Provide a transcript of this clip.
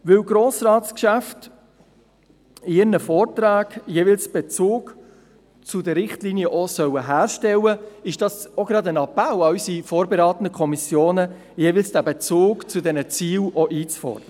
Weil Grossratsgeschäfte in ihren Vorträgen jeweils auch einen Bezug zu den Richtlinien herstellen sollen, ist dies auch ein Appell an unsere vorberatenden Kommissionen, diesen Bezug zu den Zielen einzufordern.